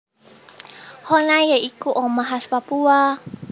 Honai ya iku omah khas Papua